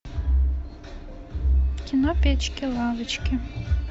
кино печки лавочки